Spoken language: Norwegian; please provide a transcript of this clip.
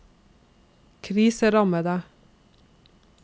kriserammede